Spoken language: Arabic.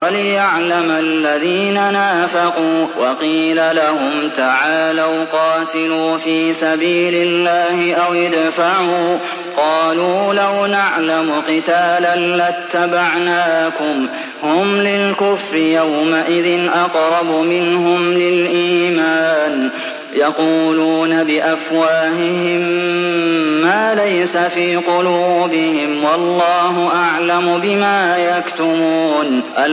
وَلِيَعْلَمَ الَّذِينَ نَافَقُوا ۚ وَقِيلَ لَهُمْ تَعَالَوْا قَاتِلُوا فِي سَبِيلِ اللَّهِ أَوِ ادْفَعُوا ۖ قَالُوا لَوْ نَعْلَمُ قِتَالًا لَّاتَّبَعْنَاكُمْ ۗ هُمْ لِلْكُفْرِ يَوْمَئِذٍ أَقْرَبُ مِنْهُمْ لِلْإِيمَانِ ۚ يَقُولُونَ بِأَفْوَاهِهِم مَّا لَيْسَ فِي قُلُوبِهِمْ ۗ وَاللَّهُ أَعْلَمُ بِمَا يَكْتُمُونَ